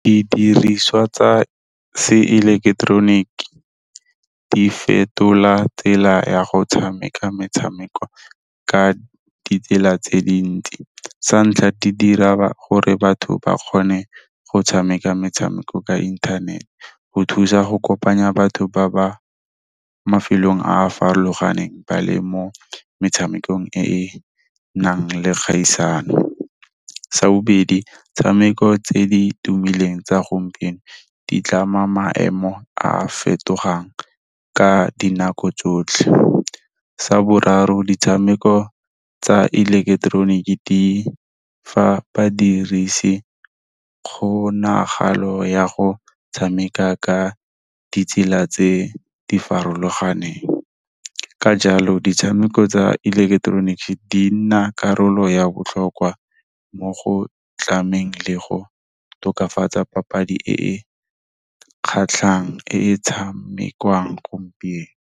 Didiriswa tsa seileketeroniki di fetola tsela ya go tshameka metshameko ka ditsela tse dintsi. Sa ntlha, di dira gore batho ba kgone go tshameka metshameko ka inthanete go thusa go kopanya batho ba ba mafelong a a farologaneng ba le mo metshamekong e e nang le kgaisano. Sa bobedi, 'tshameko tse di tumileng tsa gompieno di tlama maemo a a fetogang ka dinako tsotlhe. Sa boraro, ditshameko tsa ileketeroniki di fa badirisi kgonagalo ya go tshameka ka ditsela tse di farologaneng, ka jalo ditshameko tsa electronic di nna karolo ya botlhokwa mo go tlameng le go tokafatsa papadi e kgatlhang e e tshamekiwang gompieno.